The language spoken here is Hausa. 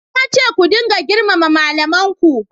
Na ce ku ringa girmama malamin ku!